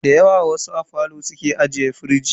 Dayawa wasu a falo suke ajiye firij.